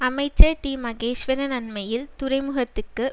அமைச்சர் டிமகேஸ்வரன் அன்மையில் துறைமுகத்துக்கு